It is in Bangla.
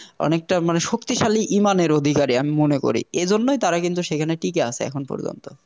অনেকটা মানে শক্তিশালী ঈমানের অধিকারে আমি মনে করি এই জন্যই তারা কিন্তু সেখানে টিকে আছে এখন পর্যন্ত